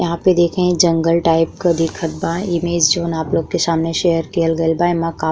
यहाँ पे देखे जंगल टाइप क दिखत बा इमेज जोन आप लोग के सामने शेयर कियल कईल गईल बा। एमा का --